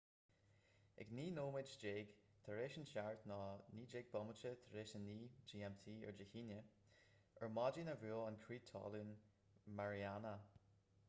ag naoi nóiméad déag tar éis a seacht 09:19 p.m. gmt dé haoine ar maidin a bhuail an crith talún mariana